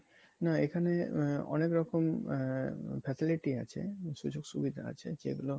না এখানে অনেক রকম আ~ facility আছে সুযোগ সুবিধা আছে যেগুলো